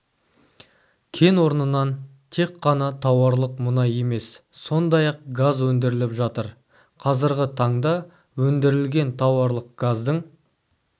кен орнынан тек қана тауарлық мұнай емес сондай-ақ газ өндіріліп жатыр қазіргі таңда өндірілген тауарлық газдың